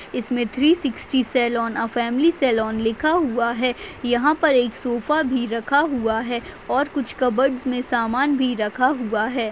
इसमे three sixty salon a family salon लिखा हुआ हैं यहाँ पर एक सोफा भी रखा हुआ हैं और कुछ कबर्ड मे सामान भी रखा हुआ हैं।